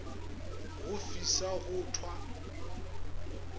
go fisa go t wa